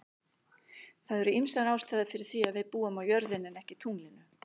Það eru ýmsar ástæður fyrir því að við búum á jörðinni en ekki tunglinu.